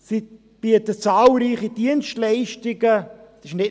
Sie bieten zahlreiche Dienstleistungen an.